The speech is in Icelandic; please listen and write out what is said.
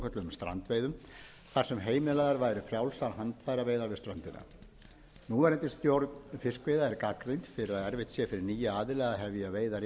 strandveiðum þar sem heimilaðar væru frjálsar handfæraveiðar við ströndina núverandi stjórn fiskveiða er gagnrýnd fyrir að erfitt sé fyrir nýja aðila að hefja veiðar í